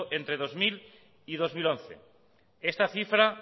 de entre dos mil y dos mil once esta cifra